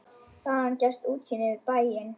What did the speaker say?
Þaðan gefst útsýni yfir bæinn.